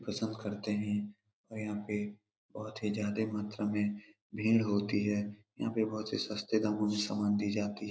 कसब करते है। और यहाँ पे बोहोत ही ज्यादा मात्रा में भीड़ होती है। यहाँ पे बोहोत ही सस्ते दामो में सामान दी जाती --